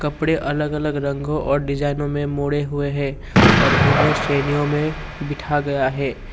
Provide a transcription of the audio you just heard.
कपड़े अलग अलग रंगों और डिजाइनों में मोड़े हुए हैं और उन्हें श्रेणियां में बिठा गया है।